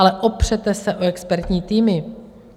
Ale opřete se o expertní týmy.